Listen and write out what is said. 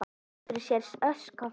Andri: Sérstök ósk frá honum?